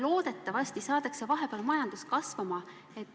Loodetavasti saadakse vahepeal majandus kasvama.